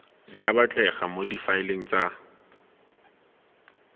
di batlegang mo difaeleng tsa